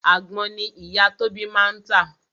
Àgbon ni ìyá Tóbi máa ń tà